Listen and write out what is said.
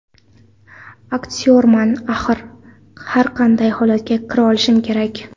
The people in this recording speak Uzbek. Aktyorman axir, har qanday holatga kira olishim kerak.